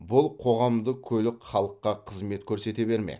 бұл қоғамдық көлік халыққа қызмет көрсете бермек